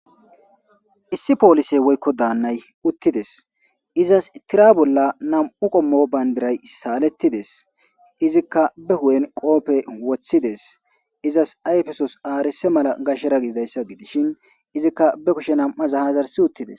issi poolise woykko daannay uttides izas tira bolla nam7u qommo bayndiray saalettides izikka be hu7en qoope wothides izas ayfesos aarise mala gashera gididayssa gidishin izikka be kushe am7aza hazarsi uttides